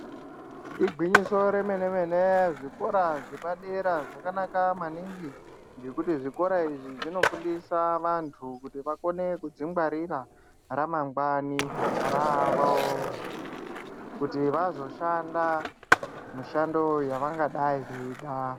Igwinyiso remene-mene, zvikora zvepadera zvakanaka maningi, ngekuti zvikora izvi zvinofundisa vantu kuti vakone kudzingwarira, ramangwani ravo, kuti vazoshanda mishando yavangadai veida.